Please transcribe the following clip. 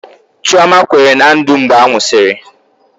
Chioma kwere na Ndụ mgbe a nwụsịrị